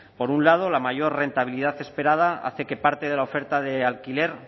por un lado la mayor rentabilidad esperada hace que parte de la oferta de alquiler